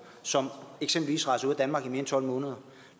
som eksempelvis rejser ud af danmark i mere end tolv måneder